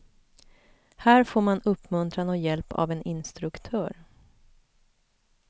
Här får man uppmuntran och hjälp av en intstruktör.